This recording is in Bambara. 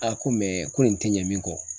A ko ko nin te ɲɛ min kɔ